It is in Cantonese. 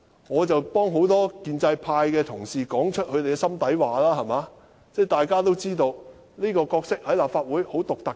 我只是替很多建制派的同事說出心底話，大家均知道這個角色在立法會是很獨特的。